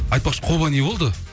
айтпақшы қолыңа не болды